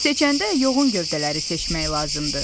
"Seçəndə yoğun gövdələri seçmək lazımdır.